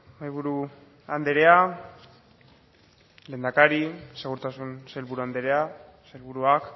mahaiburu andrea lehendakari segurtasun sailburu andrea sailburuak